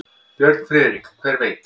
Björn Friðrik: Hver veit.